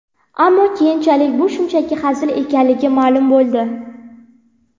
Ammo keyinchalik bu shunchaki hazil ekanligi ma’lum bo‘ldi.